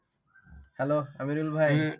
hello Aminul ভাই